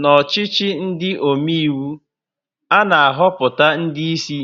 N'ọchịchị ndị omeiwu, a na-ahọpụta ndị ísí